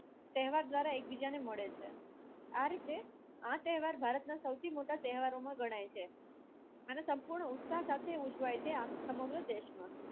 તહેવાર એકબીજાને મળે આ રીતે આ તહેવાર ભારત ના સૌથી મોટા તહેવારો માં ગણાય છે હવે સંપૂર્ણ ઉત્સાહ સાથે ઉજવાય છે સમગ્ર દેશ મા